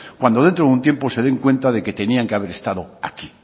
cuando dentro de un tiempo se den cuentan de que tenían que haber estado aquí